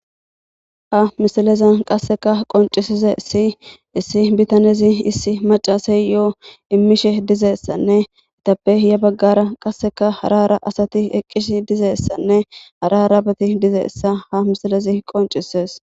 ha misileza qasseka qoncisize issi issi bitanezi issi macasey yoo immishe dizeessanne itappe iya baggara qasseka harara asati eqqisi dizeessanne hararabeti dizeessa ha misilezi qoncisees